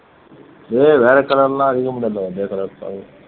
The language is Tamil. ஏய் வேற colour எல்லாம் அடிக்க மாட்டேன்ப்பா இதே colour தான்